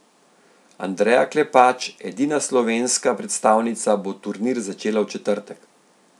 Andreja Klepač, edina slovenska predstavnica, bo turnir začela v četrtek.